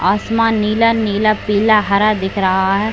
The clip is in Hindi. आसमान नीला नीला पीला हरा दिख रहा है।